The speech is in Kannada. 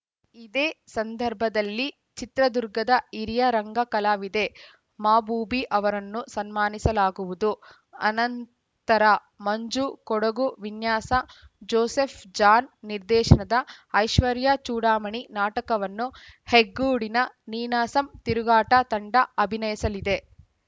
ಇದೇ ಸಂದರ್ಭದಲ್ಲಿ ಚಿತ್ರದುರ್ಗದ ಹಿರಿಯ ರಂಗ ಕಲಾವಿದೆ ಮಾಬೂಬಿ ಅವರನ್ನು ಸನ್ಮಾನಿಸಲಾಗುವುದು ಅನಂತರ ಮಂಜು ಕೊಡಗು ವಿನ್ಯಾಸ ಜೋಸೆಫ್‌ ಜಾನ್‌ ನಿರ್ದೇಶನದ ಐಶ್ವರ್ಯ ಚೂಡಾಮಣಿ ನಾಟಕವನ್ನು ಹೆಗ್ಗೋಡಿನ ನೀನಾಸಮ್‌ ತಿರುಗಾಟ ತಂಡ ಅಭಿನಯಿಸಲಿದೆ